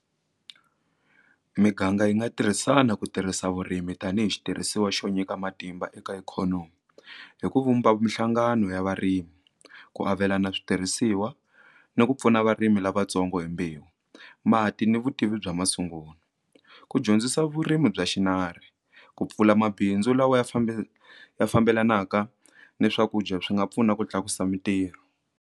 Miganga yi nga tirhisana ku tirhisa vurimi tanihi xitirhisiwa xo nyika matimba eka ikhonomi hi ku vumba minhlangano ya varimi ku avelana switirhisiwa ni ku pfuna varimi lavatsongo hi mbewu mati ni vutivi bya masungulo ku dyondzisa vurimi bya xinari ku pfula mabindzu lawa ya ya fambelanaka ni swakudya swi nga pfuna ku tlakusa mintirho.